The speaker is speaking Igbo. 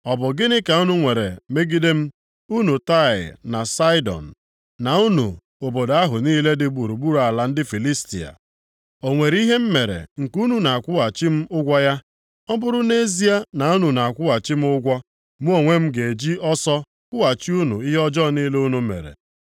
“Ọ bụ gịnị ka unu nwere megide m, unu Taịa na Saịdọn, na unu obodo ahụ niile dị gburugburu ala ndị Filistia? O nwere ihe m mere nke unu na-akwụghachi m ụgwọ ya? Ọ bụrụ nʼezie na unu na-akwụghachi m ụgwọ, mụ onwe m ga-eji ọsọ kwụghachi unu ihe ọjọọ niile unu mere.